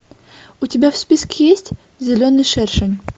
у тебя в списке есть зеленый шершень